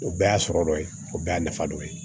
O bɛɛ y'a sɔrɔ dɔ ye o bɛɛ y'a nafa dɔ ye